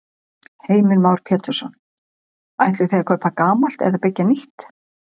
Heimir Már Pétursson: Ætlið þið að kaupa gamalt eða byggja nýtt?